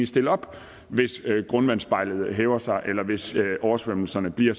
stille op hvis grundvandsspejlet hæver sig eller hvis oversvømmelserne bliver